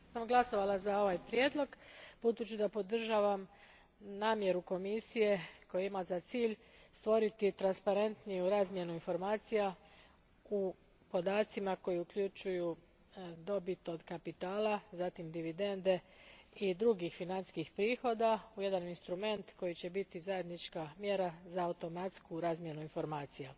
Gospođo predsjednice, glasovala sam za ovaj prijedlog budući da podržavam namjeru Komisije koja ima za cilj stvoriti transparentniju razmjenu informacija u podacima koji uključuju dobit od kapitala, zatim dividende i druge financijske prihode u jedan instrument koji će biti zajednička mjera za automatsku razmjenu informacija.